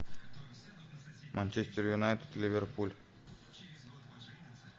манчестер юнайтед ливерпуль